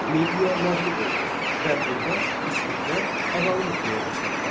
Midiya məğlub oldu və burda İskitlər ağalıq etməyə başladılar.